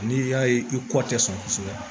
N'i y'a ye i kɔ tɛ sɔn kosɛbɛ